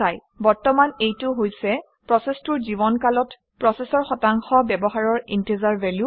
বৰ্তমান এইটো হৈছে প্ৰচেচটোৰ জীৱনকালত প্ৰচেচৰৰ শতাংশ ব্যৱহাৰৰ ইণ্টিজাৰ value